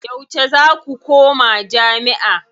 Yauce za ku koma jami'a?